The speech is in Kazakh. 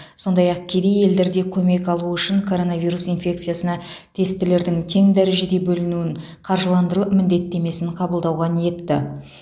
сондай ақ кедей елдер де көмек алуы үшін коронавирус инфекциясына тестілердің тең дәрежеге бөлінуін қаржыландыру міндеттемесін қабылдауға ниетті